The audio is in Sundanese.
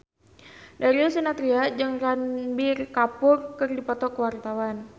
Darius Sinathrya jeung Ranbir Kapoor keur dipoto ku wartawan